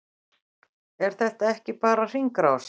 Er þetta ekki bara hringrás?